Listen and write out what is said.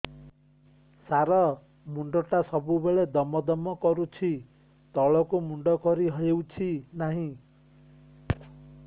ସାର ମୁଣ୍ଡ ଟା ସବୁ ବେଳେ ଦମ ଦମ କରୁଛି ତଳକୁ ମୁଣ୍ଡ କରି ହେଉଛି ନାହିଁ